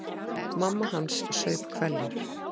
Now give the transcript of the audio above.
Mamma hans saup hveljur.